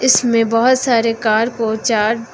इसमें बहोत सारे कार और चार--